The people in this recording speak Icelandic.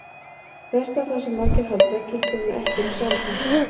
Þvert á það sem margir halda gildir hann ekki um sambúð.